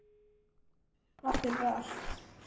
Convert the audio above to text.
Takk, amma, fyrir allt.